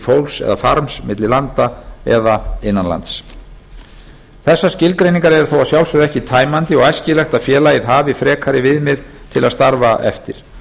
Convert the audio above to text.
fólks eða farms milli landa eða innan lands þessar skilgreiningar eru þó að sjálfsögðu ekki tæmandi og æskilegt að félagið hafi frekari viðmið til að starfa eftir